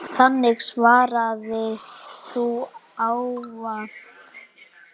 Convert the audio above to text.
Þannig svaraði þú ávallt.